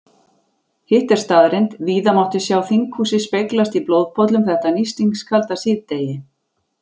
Hitt er staðreynd, víða mátti sjá þinghúsið speglast í blóðpollum þetta nístingskalda síðdegi.